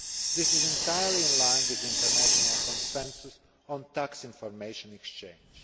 This is entirely in line with international consensus on tax information exchange.